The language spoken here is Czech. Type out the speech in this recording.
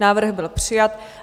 Návrh byl přijat.